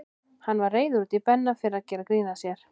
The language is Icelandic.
Hann var reiður út í Benna fyrir að gera grín að sér.